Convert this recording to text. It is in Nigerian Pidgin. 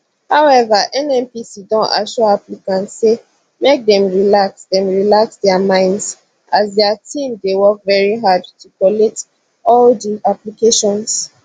however nnpc don assure applicants say make dem relax dem relax dia minds as dia team dey work very hard to collate all di applications